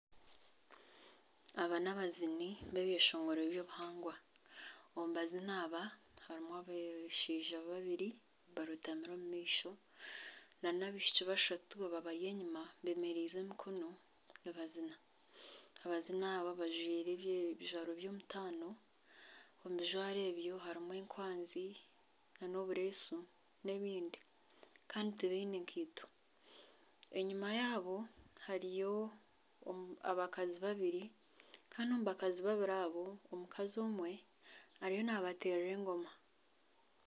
Aba nabaziini b'ebyeshongoro by'obuhangwa omu baziini aba harimu abashaija babiri barotamire omu maisho n'abaishiki bashatu babari enyuma bemererize emikono nibaziina. Abaziini aba bajwaire ebijwaro by'omutaano omu bijwaro ebyo harimu enkwazi, n'obureesu n'ebindi kandi tibaine kaito, enyuma yaabo hariyo abakazi babiri kandi omu bakazi babiri abo omukazi omwe ariyo nabateerera engoma.